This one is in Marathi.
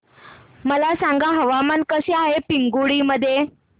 मला सांगा हवामान कसे आहे पिंगुळी मध्ये